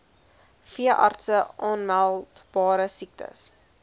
veeartse aanmeldbare siektes